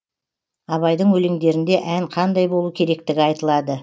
абайдың өлеңдерінде ән қандай болу керектігі айтылады